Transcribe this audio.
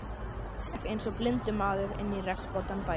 Hann gekk einsog blindur maður inn í regnvotan bæinn.